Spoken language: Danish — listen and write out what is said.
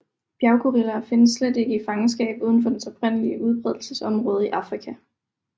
Bjerggorilla findes slet ikke i fangenskab udenfor dens oprindelige udbredelsesområde i Afrika